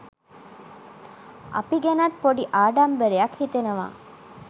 අපි ගැනත් පොඩි ආඩම්බරයක් හිතෙනවා